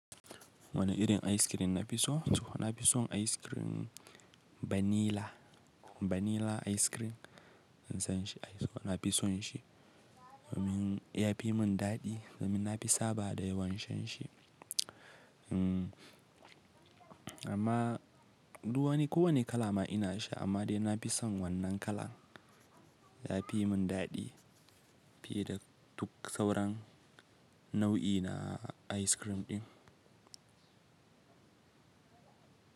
Wane irin ayis kirim na fi so? Na fi son ayis kirim vanilla. Vanilla ayis kirim, ina son shi. Na fi son shi. Domin ya fi mun dadi da na fi saba da yawan shan shi. Amma duk wani ko wane kala ma ina sha amma dai na fi son wannan kala. Ya fi mun dadi fiye da duk sauran nau'i na ice cream ɗin.